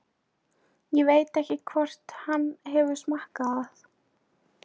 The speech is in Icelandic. Ég veit ekki hvort hann hefur smakkað það.